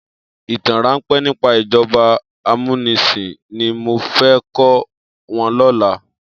Itàn ránpè nipá ijòbá àmúnisin ni mó fè kò wòn lòlá